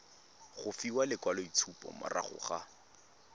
go fiwa lekwaloitshupo morago ga